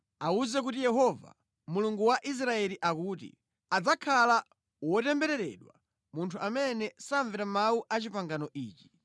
Awuze kuti Yehova, Mulungu wa Israeli akuti ‘adzakhala wotembereredwa munthu amene samvera mawu a pangano ili.